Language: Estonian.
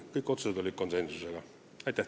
Aitäh teile!